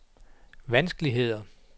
vanskeligheder